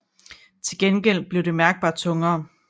Til gengæld bliver det mærkbart tungere